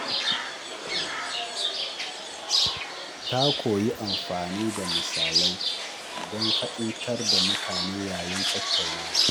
Ta koyi yin amfani da misalai don fahimtar da mutane yayin tattaunawa.